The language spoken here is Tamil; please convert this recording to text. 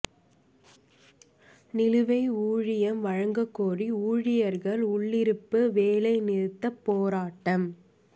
நிலுவை ஊதியம் வழங்கக் கோரி ஊழியா்கள் உள்ளிருப்பு வேலை நிறுத்தப் போராட்டம்